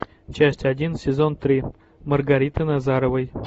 часть один сезон три маргариты назаровой